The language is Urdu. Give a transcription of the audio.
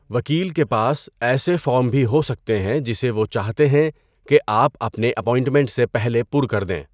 وکیل کے پاس ایسے فارم بھی ہو سکتے ہیں جسے وہ چاہتے ہیں کہ آپ اپنے اپائنٹمنٹ سے پہلے پُر کر دیں۔